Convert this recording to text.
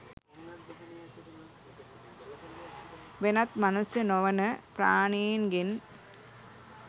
වෙනත් මනුෂ්‍ය නො වන ප්‍රාණීන් ගෙන්